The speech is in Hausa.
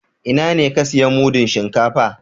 Ina ne ka siya mudun shinkafa?